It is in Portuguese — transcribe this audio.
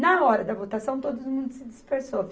Na hora da votação, todo mundo se dispersou.